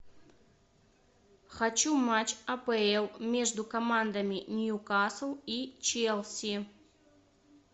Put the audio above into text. хочу матч апл между командами ньюкасл и челси